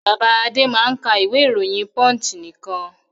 Bàbá Adé máa ń ka ìwé-ìròyìn Punch nìkan.